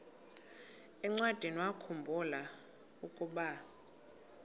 encwadiniwakhu mbula ukuba